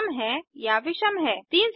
संकेत if else statement का प्रयोग करें